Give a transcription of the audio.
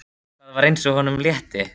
Það var eins og honum létti.